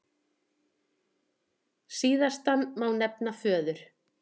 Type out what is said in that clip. Síðastan má nefna föður